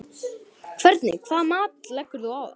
Hvernig hvaða mat leggur þú á það?